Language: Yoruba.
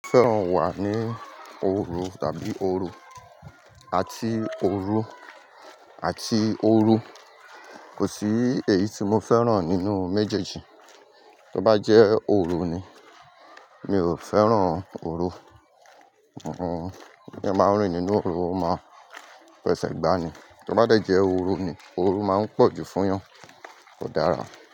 Mo fẹ́ràn wà ní òru tàbí ooru àti òru àti ooru kò sí èyí tí mo fẹ́ràn nínú méjèèjì. Tó bá jẹ́ òru ni, mi ò fẹ́ràn òru, tí eeyan ba ń rí nínú òru o máa fẹsẹ̀ gbani. Tó bá jẹ́ ooru ni, ooru máa ń pọ̀ jù fún eeyan, kò dára.